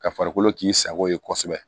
Ka farikolo k'i sago ye kosɛbɛ